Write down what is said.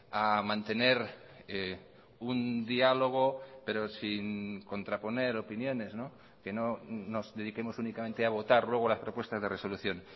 a mantener un diálogo pero sin contraponer opiniones que no nos dediquemos únicamente a votar luego las propuestas de resolución